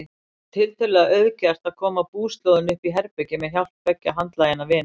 Það var tiltölulega auðgert að koma búslóðinni uppí herbergið með hjálp tveggja handlaginna vina.